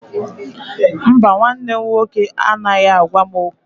Mba, nwanne m nwoke anaghị agwa m okwu